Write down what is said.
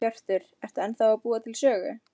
Hjörtur: Ertu ennþá að búa til sögur?